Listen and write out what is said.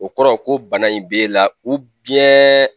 O kɔrɔ ko bana in b'e la